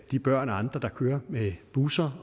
de børn og andre der kører med busser